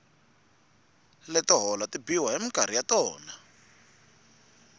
leto hola ti biwa hi minkarhi ya tona